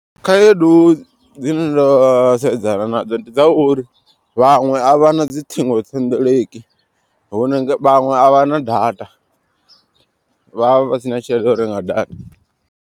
Khaedu dzine nda sedzana nadzo ndi dza uri vhaṅwe a vha na dzi ṱhingothendeleki. Hune vhaṅwe a vha na data vhavha vhasina tshelede ya u renga data.